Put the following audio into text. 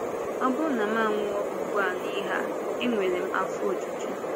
“Ọ bụrụ na mụ anwụọ ugbu a n’ị́gha a, enwere m afọ ojuju.”